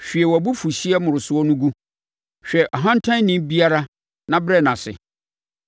Hwie wʼabufuhyeɛ mmoroso no gu, hwɛ ɔhantanni biara na brɛ no ase,